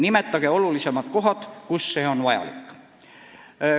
Nimetage olulisemad kohad, kus see on vajalik.